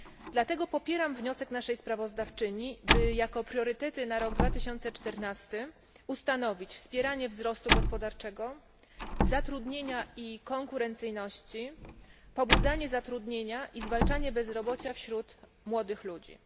Dlatego popieram wniosek naszej sprawozdawczyni, aby jako priorytety na rok 2014 ustanowić wspieranie wzrostu gospodarczego, zatrudnienia i konkurencyjności, pobudzanie zatrudnienia i zwalczanie bezrobocia wśród młodych ludzi.